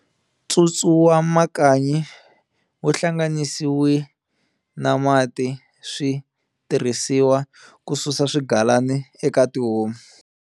Ntsutsu wamakanyi wuhlanganisiwe na mati swi tirhisiwa ku susa swigalana eka tihomu.